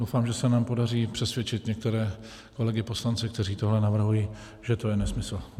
Doufám, že se nám podaří přesvědčit některé kolegy poslance, kteří tohle navrhují, že to je nesmysl.